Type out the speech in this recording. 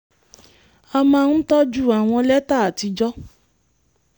a máa ń tọ́jú àwọn lẹ́tà àtijọ́